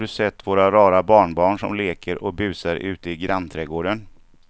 Har du sett våra rara barnbarn som leker och busar ute i grannträdgården!